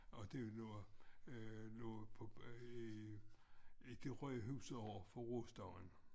Og den lå øh lå på i i det røde hus overfor rostaren